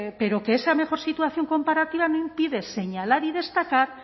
pero que esa mejor situación comparativa no impide señalar y destacar